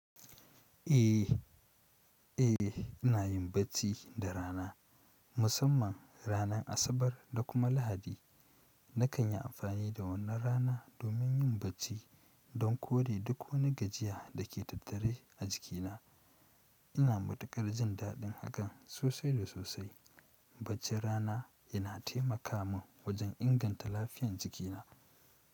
Eh, eh ina yin bacci da rana, musamman ranar Asabar da kuma Lahadi. Nakan yi amfani da wannan rana domin yin bacci don kore duk wani gajiya da ke tattare a jikina. Ina matukar jin daɗin hakan sosai da sosai. Baccin rana yana taimaka mun wajen inganta lafiyar jikina.